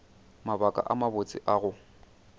mabaka a mabotse a go